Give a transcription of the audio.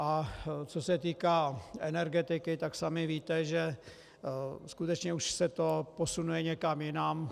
A co se týká energetiky, tak sami víte, že skutečně už se to posunuje někam jinam.